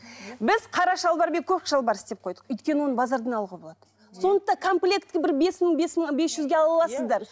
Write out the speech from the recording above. біз қара шалбар мен көк шалбар істеп қойдық өйткені оны базардан алуға болады сондықтан комплекті бір бес мың бес мың бес жүзге ала аласыздар